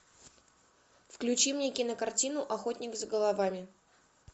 включи мне кинокартину охотник за головами